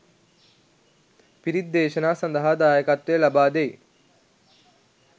පිරිත්දේශනා සඳහා දායකත්වය ලබා දෙයි.